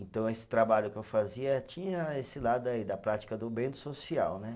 Então esse trabalho que eu fazia tinha esse lado aí da prática do bem do social, né?